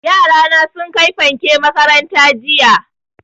Yara na sun kai fanke makaranta jiya